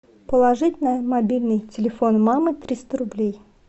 положить на мобильный телефон мамы триста рублей